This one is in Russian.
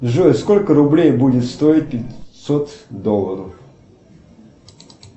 джой сколько рублей будет стоить пятьсот долларов